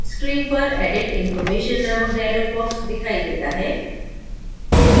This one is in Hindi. screen पर edit information नामक dialog box दिखाई देता है